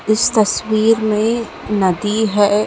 इस तस्वीर में नदी है।